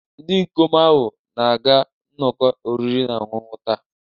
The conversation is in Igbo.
Ndị ikom ahụ na-aga nnọkọ oriri na ọṅụṅụ taa.